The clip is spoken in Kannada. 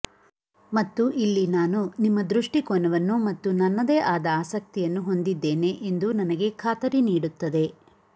ಮತ್ತು ಇಲ್ಲಿ ನಾನು ನಿಮ್ಮ ದೃಷ್ಟಿಕೋನವನ್ನು ಮತ್ತು ನನ್ನದೇ ಆದ ಆಸಕ್ತಿಯನ್ನು ಹೊಂದಿದ್ದೇನೆ ಎಂದು ನನಗೆ ಖಾತರಿ ನೀಡುತ್ತದೆ